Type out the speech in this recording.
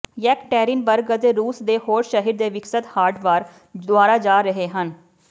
Yekaterinburg ਅਤੇ ਰੂਸ ਦੇ ਹੋਰ ਸ਼ਹਿਰ ਦੇ ਵਿਕਸਤ ਹਾਰਡ ਵਾਰ ਦੁਆਰਾ ਜਾ ਰਹੇ ਹਨ